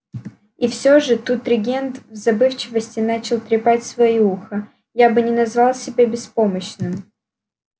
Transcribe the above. и все же тут регент в забывчивости начал трепать своё ухо я бы не назвал себя беспомощным